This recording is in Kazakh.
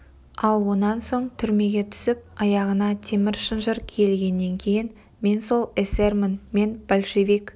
ал онан соң түрмеге түсіп аяғына темір шынжыр киілгеннен кейін мен сол эсермін мен большевик